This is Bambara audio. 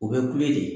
O bɛ kule de